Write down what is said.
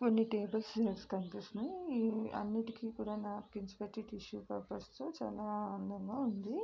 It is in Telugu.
కొన్ని టేబుల్స్ చైర్స్ కనిపిస్తున్నాయి అన్నిటికీ కూడానా నాప్కిన్స్ పెట్టి టిష్యూ పేపర్స్ చాలా అందంగా ఉంది.